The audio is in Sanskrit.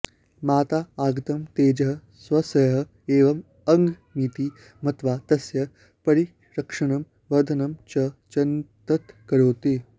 माता आगतं तेजः स्वस्य एव अङ्गमिति मत्वा तस्य परिरक्षणं वर्धनं च यत्नतः करोति